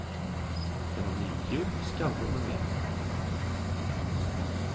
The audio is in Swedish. Det var mjukdjur, skallror med mera.